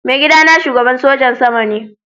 Maigida na shugaban sojin sama ne.